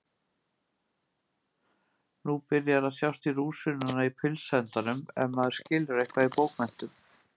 Nú byrjar að sjást í rúsínuna í pylsuendanum ef maður skilur eitthvað í bókmenntum.